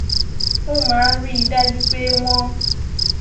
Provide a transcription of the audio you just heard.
ó máa ń rí i dájú pé wón